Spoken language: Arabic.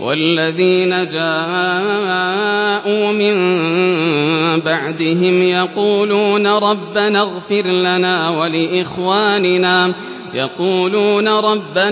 وَالَّذِينَ جَاءُوا مِن بَعْدِهِمْ يَقُولُونَ رَبَّنَا